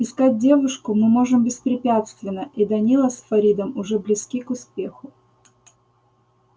искать девушку мы можем беспрепятственно и данила с фаридом уже близки к успеху